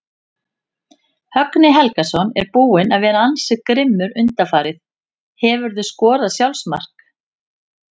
Högni Helgason er búinn að vera ansi grimmur undanfarið Hefurðu skorað sjálfsmark?